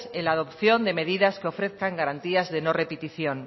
en la adopción de medidas que ofrezcan garantías de no repetición